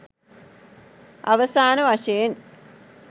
අවසාන වශයෙන්